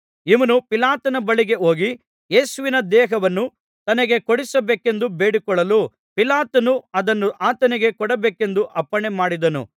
ಇವನು ಪಿಲಾತನ ಬಳಿಗೆ ಹೋಗಿ ಯೇಸುವಿನ ದೇಹವನ್ನು ತನಗೆ ಕೊಡಿಸಬೇಕೆಂದು ಬೇಡಿಕೊಳ್ಳಲು ಪಿಲಾತನು ಅದನ್ನು ಆತನಿಗೆ ಕೊಡಬೇಕೆಂದು ಅಪ್ಪಣೆಮಾಡಿದನು